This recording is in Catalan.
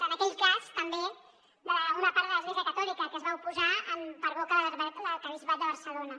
en aquell cas també d’una part de l’església catòlica que s’hi va oposar per boca de l’arquebisbat de barcelona